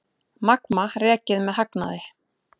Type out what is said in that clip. Magma rekið með hagnaði